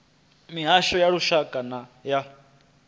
mihasho ya lushaka na ya